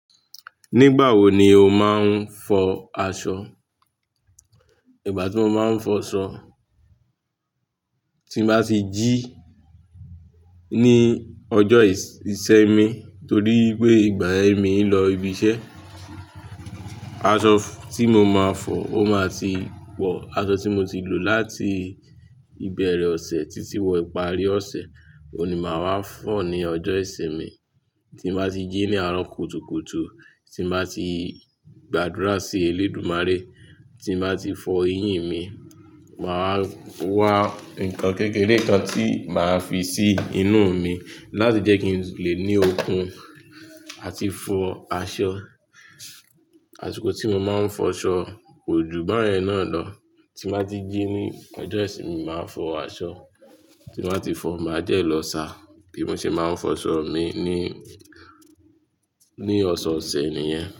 Nígbà wo ni o máa ń fọ aṣọ? Ìgbà tí mo máa ń fọ aṣọ, tí mo bá ti jí ní ọjọ́ ìṣinmi torí pé ìgbà ẹ mi ń lọ ibi iṣẹ́. Aṣọ tí mo máa fọ ó máa ti pọ̀, aṣọ tí mo ti lò láti ìbẹ̀rẹ̀ ọ̀sẹ̀ títí wọ́n parí ọ̀sẹ̀, òun ni màá wá fọ̀ ní ọjọ́ ìṣinmi. Tí mo bá ti jí ní àárọ̀ kùtùkùtù, tí mo bá ti gbàdúrà sí Elédùmarè, tí mo bá ti fọ eyín mi, màá wá nǹkan kékeré kan tí màá fi sí inú mi láti jẹ́ kí n lè ní okun àti fọ aṣọ. Àsiko tí mo máa ń fọ aṣọ kò ju báyẹn náà lọ. Tí mo bá ti jí ní ọjọ́ ìṣinmi, màá fọ aṣọ. Tí mo bá ti fọ, màá jẹ́ lọ ṣà. Bí mo ṣe máa ń fọ aṣọ mi ní, ní ọ̀sọ̀ọ̀sẹ̀ nìyẹn.